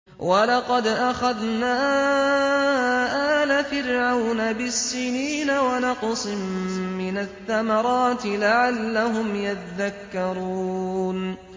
وَلَقَدْ أَخَذْنَا آلَ فِرْعَوْنَ بِالسِّنِينَ وَنَقْصٍ مِّنَ الثَّمَرَاتِ لَعَلَّهُمْ يَذَّكَّرُونَ